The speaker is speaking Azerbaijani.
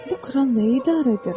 Bu kral nəyi idarə edirdi?